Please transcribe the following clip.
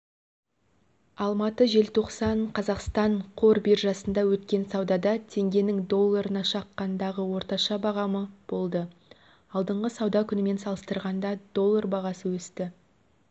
алматы желтоқсан қазақстан қор биржасында өткен саудада теңгенің долларына шаққандағы орташа бағамы болды алдыңғы сауда күнімен салыстырғанда доллар бағасы өсті